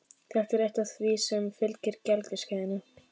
Það er eitt af því sem fylgir gelgjuskeiðinu.